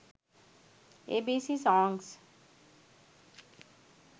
abc songs